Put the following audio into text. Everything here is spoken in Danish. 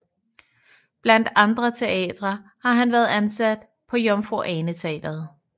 Blandt andre teatre har han været ansat på Jomfru Ane Teatret